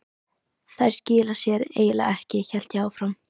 Þær skila sér eiginlega ekki, hélt ég áfram.